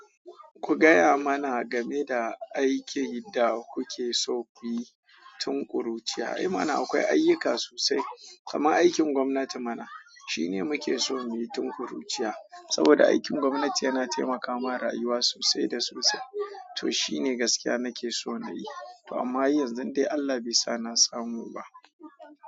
Ku gaya mana game da aikin da kuke so ku yi tun ƙuruciya. Eh mana akwai ayyuka sosai, kamar aikin gwamnati mana. Shine muke so muyi tun ƙuruciya saboda aikin gwamnati yana taimakawa rayuwa sosai da sosai. To shine gaskiya nake so nayi to amma har yanzu dan dai Allah bai sa na samu ba.